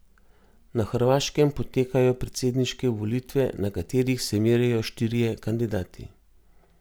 Na Hrvaškem potekajo predsedniške volitve, na katerih se merijo štirje kandidati.